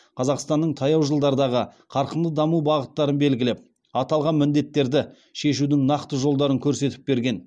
қазақстанның таяу жылдардағы қарқынды даму бағыттарын белгілеп аталған міндеттері шешудің нақты жолдарын көрсетіп берген